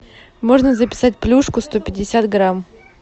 можно записать плюшку сто пятьдесят грамм